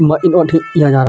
मइन को ठीक किया जा रहा --